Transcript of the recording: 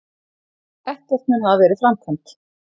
Ekkert mun hafa verið framkvæmt